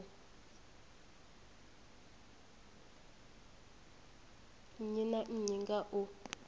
nnyi na nnyi nga u